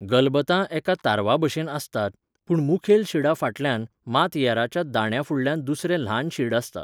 गलबतां एका तारवाभशेन आसतात, पूण मुखेल शिडा फाटल्यान, मात येऱ्याच्या दांड्याफुडल्यान दुसरें ल्हान शीड आसता.